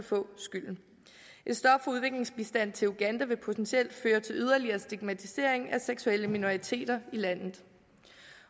få skylden et stop for udviklingsbistand til uganda vil potentielt føre til yderligere stigmatisering af seksuelle minoriteter i landet